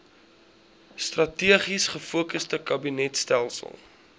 strategies gefokusde kabinetstelsel